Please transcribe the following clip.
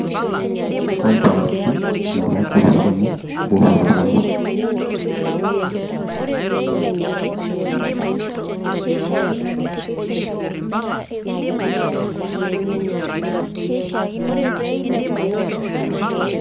Icompakiti inga bashirusilemo bukhoba bwayo